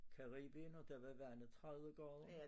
Caribien og der var vandet 30 grader